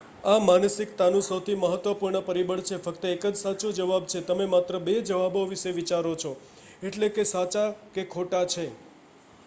આ માનસિકતાનું સૌથી મહત્વપૂર્ણ પરિબળ છે ફક્ત એક જ સાચો જવાબ છે તમે માત્ર બે જવાબો વિશે વિચારો છો એટલે કે સાચા કે ખોટા છે